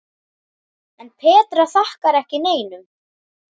En Petra þakkar ekki neinum.